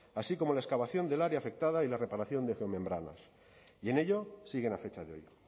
así como la excavación del área afectada y la reparación de geomembranas y en ello siguen a fecha de hoy